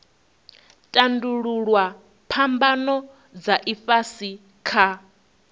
tandululwa phambano dza ifhasi kha